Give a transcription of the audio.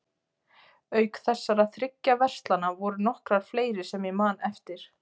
Auk þessara þriggja verslana voru nokkrar fleiri sem ég man eftir.